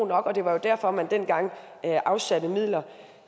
nok og det var derfor man dengang afsatte midler